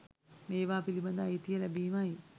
ඒවා පිළිබඳ අයිතිය ලැබීමයි